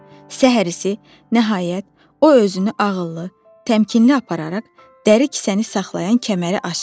Səhər isə, nəhayət, o özünü ağıllı, təmkinli apararaq dəri kisəni saxlayan kəməri açdı.